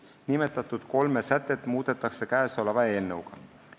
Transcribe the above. Nimetatud kolme sätet muudetakse käesoleva eelnõuga.